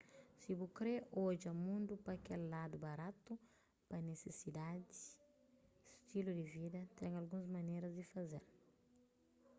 si bu kre odja mundu pa kel ladu baratu pa nisisidadi stilu di vida ten alguns maneras di faze-l